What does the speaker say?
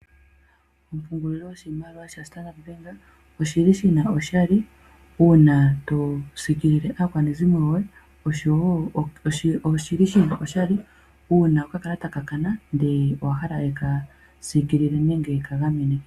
Ompungulilo yoshimaliwa yoStandard Bank oyi na oshali uuna to kwashilipaleke aakwanezimo lyoye, oshowo uuna okakalata ka kana, ndele owa hala ye ka gamene.